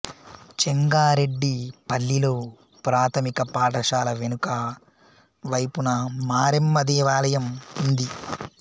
చెంగారెడ్డి పల్లిలో ప్రాథమిక పాఠశాల వెనుక వైపున మారెమ్మ దేవాలయం ఉంది